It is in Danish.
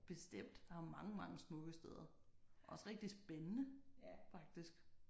Bestemt her er mange mange smukke steder også rigtig spændende faktisk